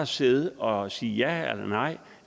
sidde og sige ja eller nej